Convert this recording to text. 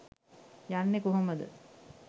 යන්නෙ කොහොම ද?